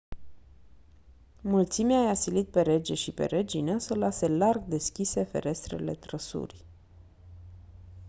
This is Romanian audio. mulțimea i-a silit pe rege și pe regină să lase larg deschise ferestrele trăsurii